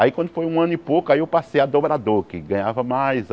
Aí quando foi um ano e pouco, aí eu passei a dobrador, que ganhava mais.